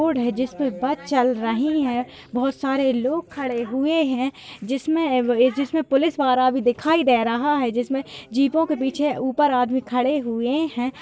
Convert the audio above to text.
Road है जिसमे bus चल रही है बहुत सारे लोग खड़े हुए है जिसमे जिसमे पुलिस वाला भी दिखाई दे रहा है। जिसमे जीपों के पीछे ऊपर आदमी खड़े हुए है।